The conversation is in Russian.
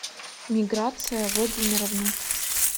миграция владимировна